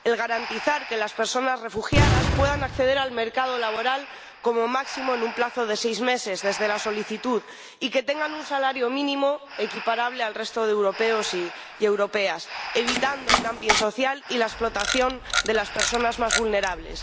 garantizar que las personas refugiadas puedan acceder al mercado laboral como máximo en un plazo de seis meses desde la solicitud y que tengan un salario mínimo equiparable al resto de europeos y europeas, evitando el dumping social y la explotación de las personas más vulnerables.